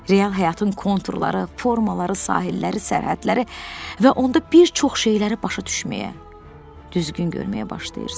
Real həyatın konturları, formaları, sahilləri, sərhədləri və onda bir çox şeyləri başa düşməyə, düzgün görməyə başlayırsan.